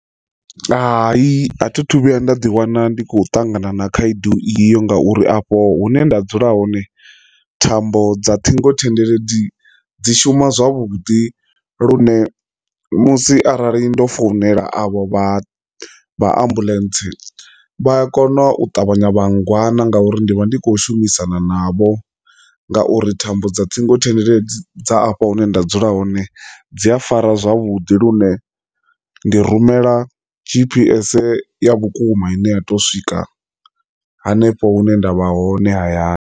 Hai, a thi thu vhuya nda ḓi wana ndi khou ṱangana na khaedu iyo ngauri afho hune nda dzula hone thambo dza ṱhingothendeleki dzi shuma zwavhuḓi lune musi arali ndo founela avho vha vha ambuḽentse vha a kona u ṱavhanya vha ngwana ngauri ndi vha ndi khou shumisana navho, ngauri thambo dza ṱhingothendeleki dza afha hune nda dzula hone dzi a fara zwavhuḓi lune ndi rumela g_p_s ya vhukuma ine ya to swika hanefho hune nda vha hone hayani.